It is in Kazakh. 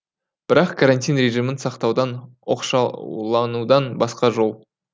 бірақ карантин режимін сақтаудан оқшауланудан басқа жол